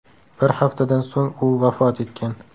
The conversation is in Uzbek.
Bir haftadan so‘ng u vafot etgan.